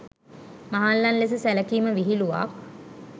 මහල්ලන් ලෙස සැලකීම විහිළුවක්.